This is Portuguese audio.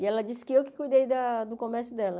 E ela disse que eu que cuidei da do comércio dela.